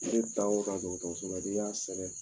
Ne taa o taa dɔgɔtɔrɔso la n'i y'a sɛbɛ